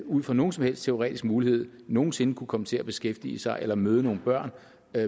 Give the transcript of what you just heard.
ud fra nogen som helst teoretisk mulighed nogen sinde kunne komme til at beskæftige sig med eller møde nogle børn